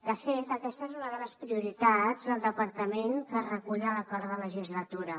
de fet aquesta és una de les prioritats del departament que es recull a l’acord de legislatura